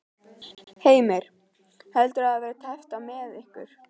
Heimir: Heldurðu að það verði tæpt á með ykkur?